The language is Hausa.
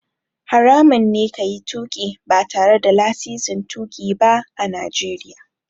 Haramun ne ka yi tuƙi ba tare da lasisin tuƙi ba a Najeriya.